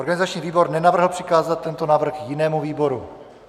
Organizační výbor nenavrhl přikázat tento návrh jinému výboru.